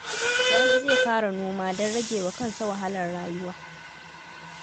Sani zai fara noma don rage wa kansa wahalar rayuwa